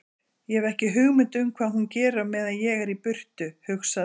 Ég hef ekki hugmynd um hvað hún gerir á meðan ég er í burtu, hugsaði